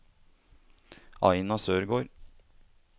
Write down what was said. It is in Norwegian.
Aina Sørgård